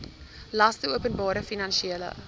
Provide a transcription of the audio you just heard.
laste openbare finansiële